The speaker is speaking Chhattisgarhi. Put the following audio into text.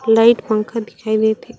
लाइट पंखा दिखाई देत हे।